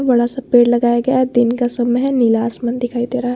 बड़ा सा पेड़ लगाया गया है दिन का समय नीला आसमान दिखाई दे रहा--